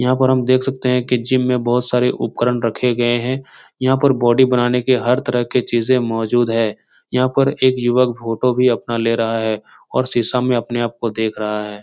यहाँ पर हम देख सकते है कि जिम में बहुत सारे उपकरण रखे गए हैं यहाँ पर बॉडी बनाने के हर तरह के चीज़े मौजूद है यहाँ पर एक युवक फोटो भी अपना ले रहा है और शीशा में अपने आप को देख रहा है।